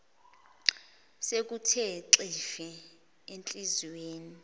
sekuthe xhifi enhliziyweni